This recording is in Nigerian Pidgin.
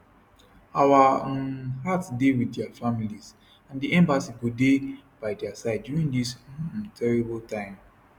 our um hearts dey wit dia families and di embassy go dey by dia side during dis um terrible time